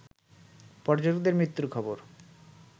পর্যটকদের মৃত্যুর খবর